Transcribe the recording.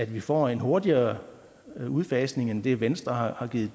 vi får en hurtigere udfasning end det venstre har givet